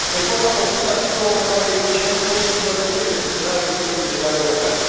Reforma propusă asigură o mai mare eficiență și îmbunătățește funcționarea sistemului legal european.